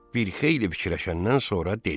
Bir xeyli fikirləşəndən sonra dedi.